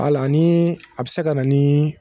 Al'a nin a bi se ka na nin